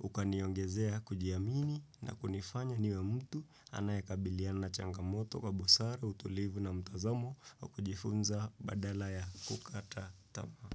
Ukaniongezea kujiamini na kunifanya niwe mtu anayaekabiliana na changamoto kwa busara, utulivu na mtazamo wa kujifunza badala ya kukata tama.